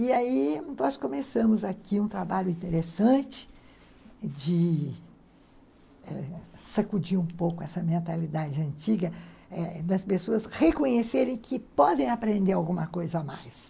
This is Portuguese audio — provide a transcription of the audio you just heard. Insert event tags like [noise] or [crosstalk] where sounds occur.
E aí nós começamos aqui um trabalho interessante de sacudir um pouco essa mentalidade antiga [unintelligible] das pessoas reconhecerem que podem aprender alguma coisa a mais.